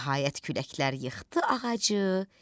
Nəhayət küləklər yıxdı ağacı.